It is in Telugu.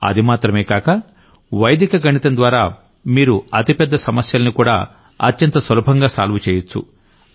అది మాత్రమే కాక వైదిక గణితం ద్వారా మీరు అతి పెద్ద ప్రాబ్లమ్స్ ని కూడా అత్యంత సులభంగా సాల్వ్ చెయ్యొచ్చు